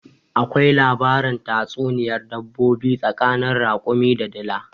Akwai labarin tatsuniyar dabbobi tsakanin rakumi da dila